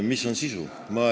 Mis on sisu?